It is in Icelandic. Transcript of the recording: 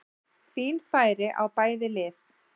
Fín færi á bæði lið!